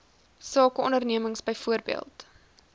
sake ondernemings byvoorbeeld